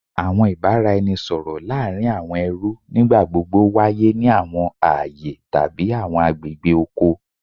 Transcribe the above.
Awọn ibaraẹnisọrọ laarin awọn ẹrú nigbagbogbo waye ni awọn aaye tabi awọn agbegbe oko